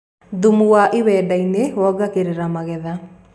thumu wa iwaneda wongagirira magetha